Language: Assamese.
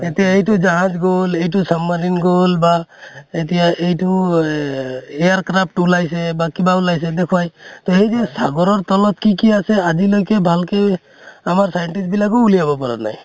এতিয়া এইটো জাহাজ গʼল, এইটো submarine গʼল বা এতিয়া এইটো আ air craft ওলাইছে বা কিবা ওলাইছে, দেখোৱাই । তʼ সেই যে hindi তলত কি কি আছে, আজিলৈকে ভালকে, আমাৰ scientist বিলাকো ওলিয়াব পৰা নাই ।